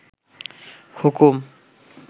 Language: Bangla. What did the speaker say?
হুকুম